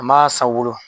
An m'a san u wolo